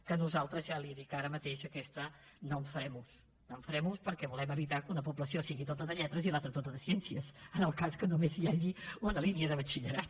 que nosaltres ja li ho dic ara mateix d’aquesta no en farem ús no en farem ús perquè volem evitar que una població sigui tota de lletres i l’altra tota de ciències en el cas que només hi hagi una línia de batxillerat